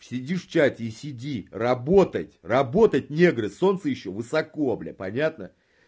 сидишь в чате и сиди работать работать негры солнце ещё высоко блядь понятно